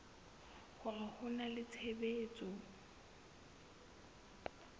hore ho na le tshebetso